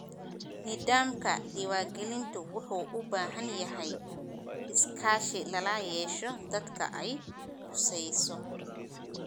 Nidaamka diiwaangelintu wuxuu u baahan yahay iskaashi lala yeesho dadka ay khusayso.